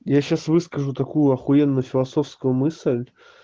я сейчас выскажу такую ахуенную философскую мысль